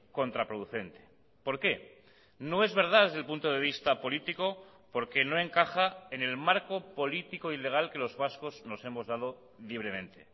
contraproducente por qué no es verdad desde el punto de vista político porque no encaja en el marco político y legal que los vascos nos hemos dado libremente